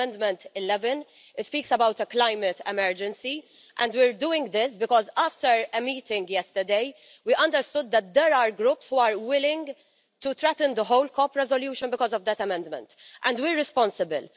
It is Amendment 11. It speaks about a climate emergency and we're doing this because, after a meeting yesterday, we understood that there are groups that are willing to threaten the whole COP resolution because of that amendment, and we are responsible.